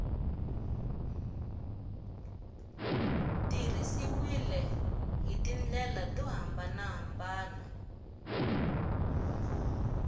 tirhisiwile hi tindlela to hambanahambana